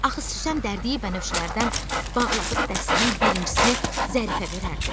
Axı Süslən dərdiyi bənövşələrdən bağladığı dəstənin birincisini Zərifə verərdi.